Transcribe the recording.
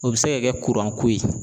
O bɛ se ka kɛ kuranko ye.